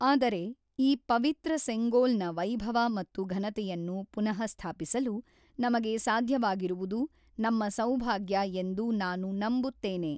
ಆದರೆ ಈ ಪವಿತ್ರ ಸೆಂಗೋಲ್ ನ ವೈಭವ ಮತ್ತು ಘನತೆಯನ್ನು ಪುನಃಸ್ಥಾಪಿಸಲು ನಮಗೆ ಸಾಧ್ಯವಾಗಿರುವುದು ನಮ್ಮ ಸೌಭಾಗ್ಯ ಎಂದು ನಾನು ನಂಬುತ್ತೇನೆ.